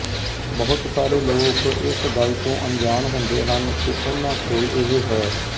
ਬਹੁਤ ਸਾਰੇ ਲੋਕ ਇਸ ਗੱਲ ਤੋਂ ਅਣਜਾਣ ਹੁੰਦੇ ਹਨ ਕਿ ਉਹਨਾਂ ਕੋਲ ਇਹ ਹੈ